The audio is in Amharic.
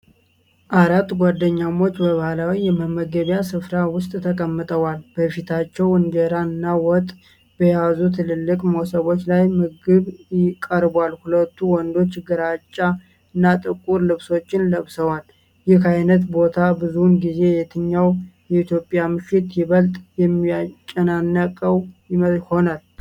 አራት ጓደኛሞች በባህላዊ የመመገቢያ ስፍራ ውስጥ ተቀምጠዋል። በፊታቸው እንጀራ እና ወጥ በያዙ ትልልቅ መሶቦች ላይ ምግብ ቀርቧል። ሁለቱ ወንዶች ግራጫ እና ጥቁር ልብሶችን ለብሰዋል። ይህ አይነት ቦታ ብዙውን ጊዜ የትኛው የኢትዮጵያ ምሽት ይበልጥ የሚጨናነቀው ይሆናል?